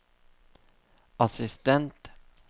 assistent